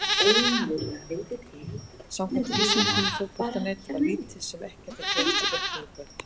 Samkvæmt lýsingu Fótbolta.net var lítið sem ekkert að gerast í leiknum í kvöld.